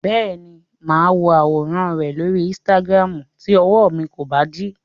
Bẹ́ẹ̀ni, máa wo àwòràn rẹ lóri Instagram tí ọwọ mi kò bá dí.